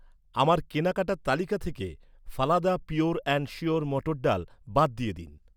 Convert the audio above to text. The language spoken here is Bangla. আমার কেনাকাটার তালিকা থেকে, ফালাদা পিওর অ্যান্ড শিওর মটর ডাল বাদ দিয়ে দিন।